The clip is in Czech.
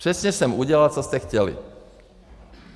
Přesně jsem udělal, co jste chtěli.